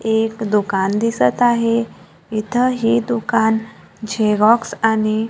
एक दुकान दिसत आहे इथ हे दुकान झेरॉक्स आणि--